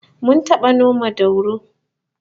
Mun taba noma dauro